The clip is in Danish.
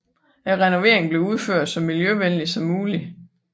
Renoveringen blev udført så miljøvenligt som muligt